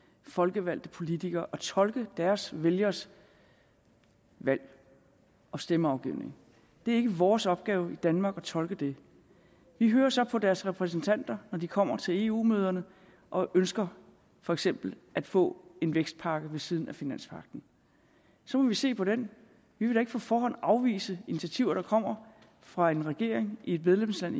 folkevalgte politikere at tolke deres vælgeres valg og stemmeafgivning det er ikke vores opgave i danmark at tolke det vi hører så på deres repræsentanter når de kommer til eu møderne og ønsker for eksempel at få en vækstpakke ved siden af finanspagten så må vi se på det det vi vil da ikke på forhånd afvise initiativer der kommer fra en regering i et medlemsland